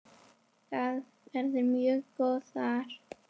Þær væru mjög góðar.